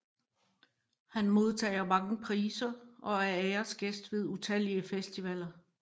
Han modtager mange priser og er æresgæst ved utallige festivaler